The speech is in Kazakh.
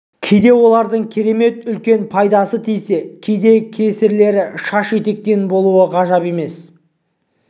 кейде олардың керемет үлкен пайдасы тисе кейде кесірлері шаш етектен болуы ғажап емес